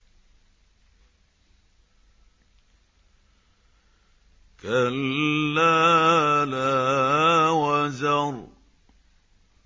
كَلَّا لَا وَزَرَ